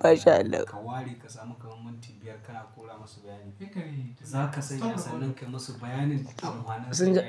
MashAllah. Ka ware ka sami kaman minti biyar kana kora masu bayani. Za ka sanya ƙasanin ka musu bayanin amfanin su nai.